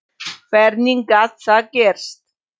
Hvernig gat það gerst?